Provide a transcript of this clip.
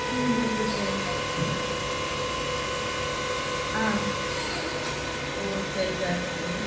உம் okay sir ஆஹ் உம் சரி sir okay.